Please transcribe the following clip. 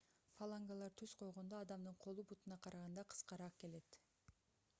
фалангалар түз койгондо адамдын колу бутуна караганда кыскараак келет